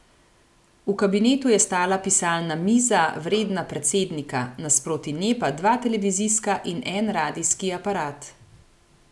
V kabinetu je stala pisalna miza, vredna predsednika, nasproti nje pa dva televizijska in en radijski aparat.